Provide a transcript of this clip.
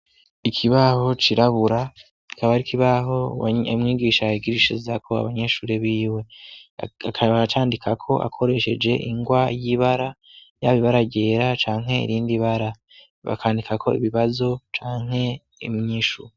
Ikibaho cirabura akaba ari ikibaho mwigisha higirishiza ko abanyeshuri b'iwe akaacandika ko akoresheje ingwa y'ibara yabibaragera canke irindi bara bakandika ko ibibazo canke imyishuro.